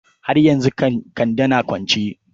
Har yanzu Kande na kwance?